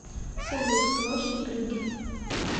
салют площадь брюгге